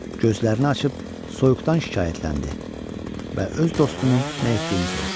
Gözlərini açıb soyuqdan şikayətləndi və öz dostunun nə etdiyini soruşdu.